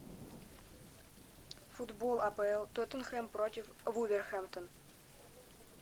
футбол апл тоттенхэм против вулверхэмптон